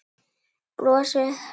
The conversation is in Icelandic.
Brosið hennar.